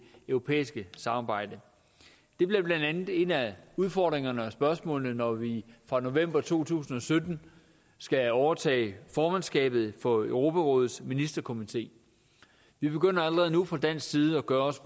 europæiske samarbejde det bliver blandt andet en af udfordringerne og et af spørgsmålene når vi fra november to tusind og sytten skal overtage formandskabet for europarådets ministerkomité vi begynder allerede nu fra dansk side at gøre os